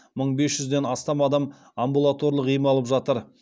мың бес жүзден астам адам амбулаторлық ем алып жатыр